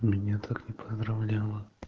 меня так не поздравляла